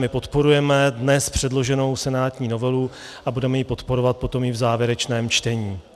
My podporujeme dnes předloženou senátní novelu a budeme ji podporovat potom i v závěrečném čtení.